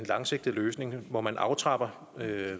langsigtet løsning hvor man aftrapper